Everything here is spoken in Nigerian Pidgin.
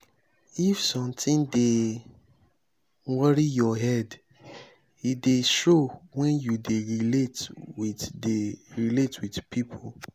if sometin dey worry your head e dey show wen you dey relate wit dey relate wit pipo.